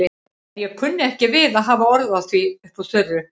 En ég kunni ekki við að hafa orð á því upp úr þurru.